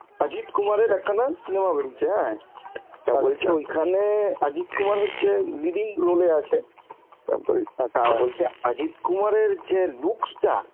অজিত কুমার এর একটা cinema বেরিয়েছে হ্যাঁ, তা বলছে ওইখানে অজিত কুমার হচ্ছে leading role এ আছে, তারপরে তা বলছে অজিত কুমারের যে looks টা